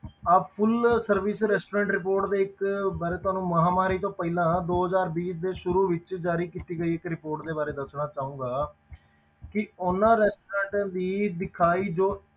ਅਹ full service restaurant report ਦੇ ਇੱਕ ਬਾਰੇ ਤੁਹਾਨੂੰ ਮਹਾਂਮਾਰੀ ਤੋਂ ਪਹਿਲਾਂ ਦੋ ਹਜ਼ਾਰ ਵੀਹ ਦੇ ਸ਼ੁਰੂ ਵਿੱਚ ਜ਼ਾਰੀ ਕੀਤੀ ਗਈ ਇੱਕ report ਦੇ ਬਾਰੇ ਦੱਸਣਾ ਚਾਹਾਂਗਾ ਕਿ ਉਹਨਾਂ restaurants ਦੀ ਦਿਖਾਈ ਜੋ